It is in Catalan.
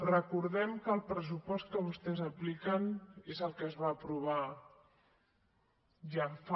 recordem que el pressupost que vostès apliquen és el que es va aprovar ja fa